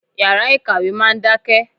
Yàrá ìkàwé máa ń dákẹ́.